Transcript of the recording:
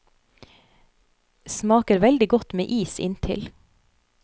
Smaker veldig godt med is inntil.